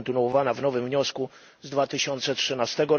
i kontynuowana w nowym wniosku z 2013